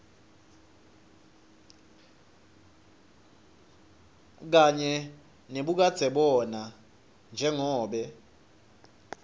kanye nebukadzebona njengobe